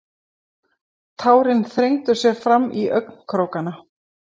Tárin þrengdu sér fram í augnkrókana.